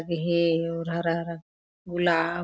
ये हरा-हरा गुलाब--